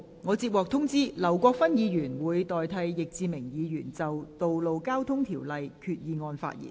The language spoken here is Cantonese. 我接獲通知，劉國勳議員會代替易志明議員就根據《道路交通條例》動議的擬議決議案發言。